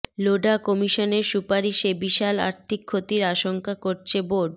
লোঢা কমিশনের সুপারিশে বিশাল আর্থিক ক্ষতির আশঙ্কা করছে বোর্ড